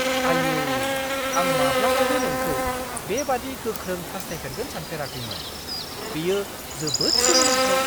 आइऔ! आं माब्लाबाबो नोंखौ बेबादि गोख्रों हासथायफेरगोन सानफेराखैमोन । बेयो जोबोद सोमोनांथाव।